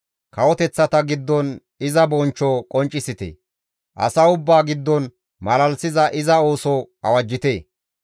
Kawoteththata giddon iza bonchcho qonccisite; asa ubbaa giddon malalisiza iza ooso awajjite.